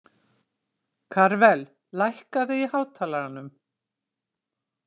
Karvel, lækkaðu í hátalaranum.